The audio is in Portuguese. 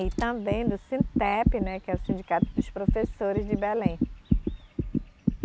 E também do Sintep, né, que é o Sindicato dos Professores de Belém.